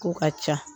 K'o ka ca